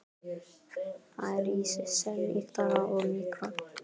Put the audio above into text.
Það er í senn ýktara og mýkra.